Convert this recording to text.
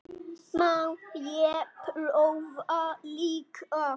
Má ég prófa líka!